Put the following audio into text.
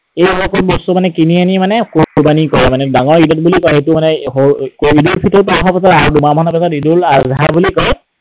এই বোৰ বস্তু মানে কিনি আনি মানে কোৰৱানী কৰে মানে। ডাঙৰ ঈদত বুলি কয় সেইটো মানে ঈদ উল ফিটৰত, আৰু দুমাহ মানৰ পিছত ঈদ উল আধা বুলি কয়